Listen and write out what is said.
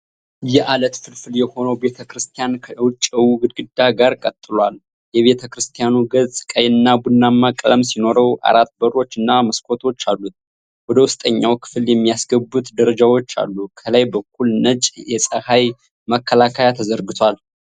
የዐለት ፍልፍል የሆነው ቤተ ክርስቲያን ከውጭው ግድግዳ ጋር ቀጥሏል። የቤተ ክርስቲያኑ ገጽ ቀይና ቡናማ ቀለም ሲኖረው አራት በሮች እና መስኮቶች አሉት። ወደ ውስጠኛው ክፍል የሚያስገቡት ደረጃዎች አሉ። ከላይ በኩል ነጭ የፀሐይ መከላከያ ተዘርግቷል።